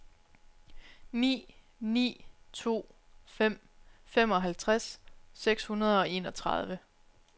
ni ni to fem femoghalvtreds seks hundrede og enogtredive